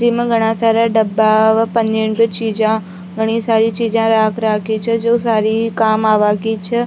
जिमा घड़ा सारा डब्बा और पन्नी का चीजा घडी सारी चीजे राख राखी छ जो सारी काम आवा की छ।